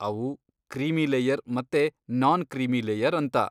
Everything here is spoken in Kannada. ಅವು ಕ್ರೀಮಿ ಲೇಯರ್ ಮತ್ತೆ ನಾನ್ ಕ್ರೀಮಿ ಲೇಯರ್ ಅಂತ.